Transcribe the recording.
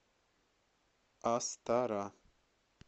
астара